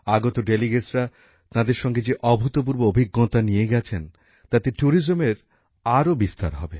আগত প্রতিনিধিরা তাঁদের সঙ্গে যে অভূতপূর্ব অভিজ্ঞতা নিয়ে গেছেন তাতে পর্যটনের আরও বিস্তার হবে